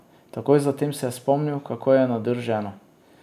Takoj zatem se je spomnil, kako je nadrl ženo.